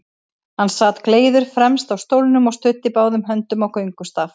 Hann sat gleiður fremst á stólnum og studdi báðum höndum á göngustaf.